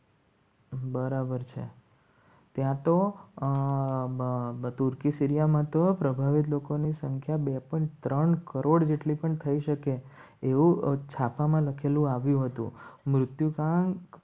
બરાબર છે ત્યાં તો બધું કી સીરિયામાં તો પ્રભાવિત લોકોની સંખ્યા બે પણ ત્રણ કરોડ જેટલી પણ થઈ શકે એવું છાપામાં લખેલું આવ્યું હતું મૃત્યુ ના